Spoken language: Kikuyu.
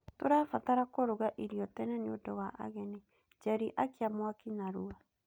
Tũrabatara kũruga irio tene nĩũndũ wa ageni. Njeri akia mwaki narua.